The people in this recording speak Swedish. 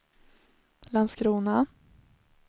Landskrona